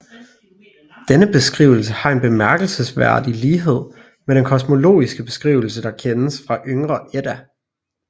Denne beskrivelse har en bemærkelsesværdig lighed med den kosmologiske beskrivelse der kendes fra Yngre Edda